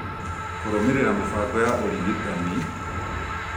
kũrũmĩrĩra mĩbango ya ũrigitani